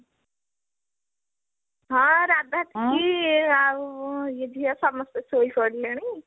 ହଁ ରାଧା ଟିକି ଆଉ ଝିଅ ସମସ୍ତେ ଶୋଇପଡିଲେଣି